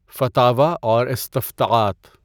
فتاوی اور استفتاءات